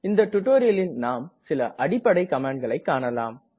இந்த டுடோரியலில் நாம் சில அடிப்படை கமாண்ட்களை காணலாம்